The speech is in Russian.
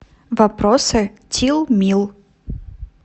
вопросы тилмил